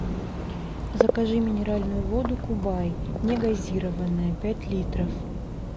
закажи минеральную воду кубай негазированная пять литров